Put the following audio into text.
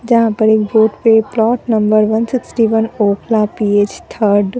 जहां पर एक बोर्ड पे plot number one sixty one Okhla P H third --